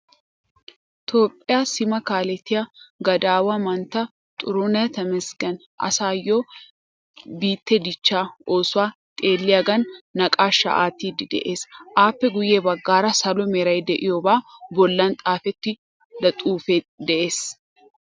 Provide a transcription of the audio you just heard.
Toophphiya sima kaalettiya gadaawa mantta xiruuneh Temeesgeni asaayyo biittee dichchaa oosuwa xeelliyagan naqaashshaa aattiiddi de'ees. Appe guyye baggaara salo meray de'iyobaa bollan xaafettida xuufe de'ees.